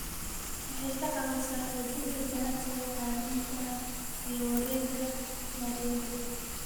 Waxay ka caawisaa xoojinta ganacsiga caalamiga ah iyo wareegga maaliyadda.